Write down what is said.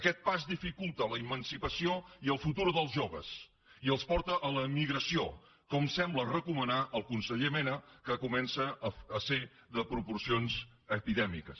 aquest pas dificulta l’emancipació i el futur dels joves i els porta a l’emigració com sembla recomanar el conseller mena que comença a ser de proporcions epidèmiques